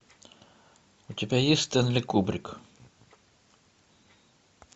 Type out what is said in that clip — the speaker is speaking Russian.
у тебя есть стэнли кубрик